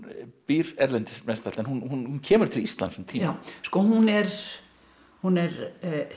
býr erlendis en hún kemur til Íslands um tíma hún er hún er